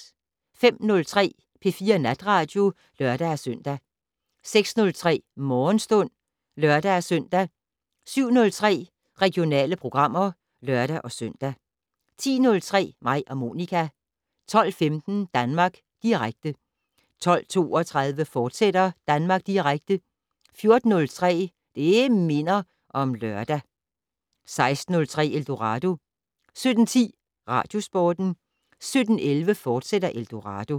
05:03: P4 Natradio (lør-søn) 06:03: Morgenstund (lør-søn) 07:03: Regionale programmer (lør-søn) 10:03: Mig og Monica 12:15: Danmark Direkte 12:32: Danmark Direkte, fortsat 14:03: Det' Minder om Lørdag 16:03: Eldorado 17:10: Radiosporten 17:11: Eldorado, fortsat